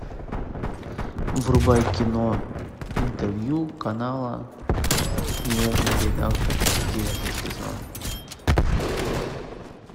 врубай кино интервью канала нежный редактор девятый сезон